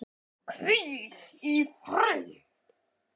Og hvíl í friði.